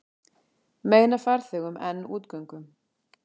Meina farþegum enn útgöngu